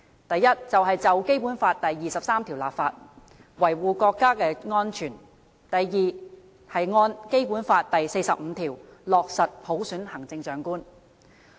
第一，就《基本法》第二十三條立法，維護國家安全；第二，按《基本法》第四十五條落實普選行政長官。